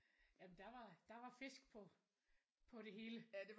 Jamen der var der var fisk på på det hele